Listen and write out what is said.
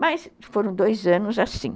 Mas foram dois anos assim.